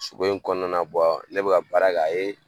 Soko in kɔnɔna na ne bɛ ka ka baara kɛ a ye